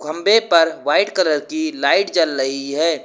खंभे पर white colour की लाइट जल लही है।